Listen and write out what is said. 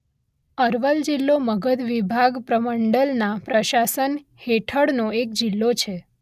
અરવલ જિલ્લો મગધ વિભાગ પ્રમંડલના પ્રશાસન હેઠળનો એક જિલ્લો છે.